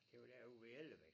Det var derude ved Ellebæk